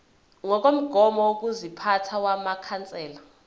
ngokomgomo wokuziphatha wamakhansela